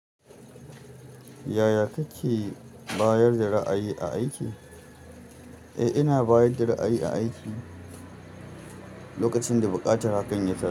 Yaya kake bayar da ra'ayi a aiki? Eh, ina bayar da ra'ayi a aiki lokacin da buƙatar hakan ya ta.